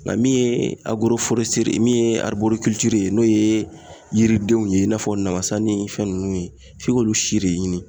Nga min ye agoroforɛseri ye min ye ariborikiliciri ye n'o ye yiridenw ye i n'a fɔ namasa ni fɛn nunnu ye f'i k'olu si le ɲini